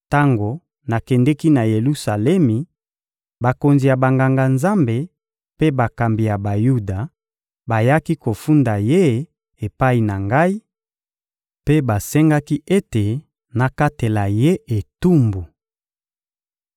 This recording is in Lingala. Tango nakendeki na Yelusalemi, bakonzi ya Banganga-Nzambe mpe bakambi ya Bayuda bayaki kofunda ye epai na ngai, mpe basengaki ete nakatela ye etumbu.